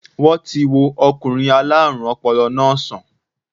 Wọ́n ti wo okùnrin aláàrùn ọpọlọ náà sàn